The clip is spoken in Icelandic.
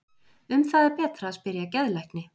Um það er betra að spyrja geðlækni.